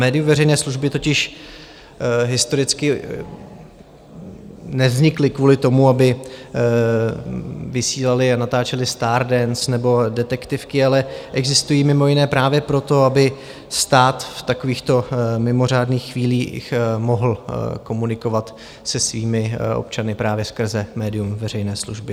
Média veřejné služby totiž historicky nevznikla kvůli tomu, aby vysílala a natáčela StarDance nebo detektivky, ale existují mimo jiné právě proto, aby stát v takovýchto mimořádných chvílích mohl komunikovat se svými občany právě skrze médium veřejné služby.